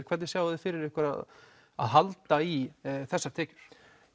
hvernig sjáið þið fyrir ykkur að að halda í þessar tekjur